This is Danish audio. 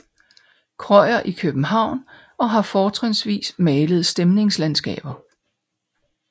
Krøyer i København og har fortrinsvis malet stemningslandskaber